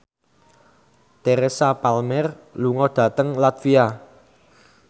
Teresa Palmer lunga dhateng latvia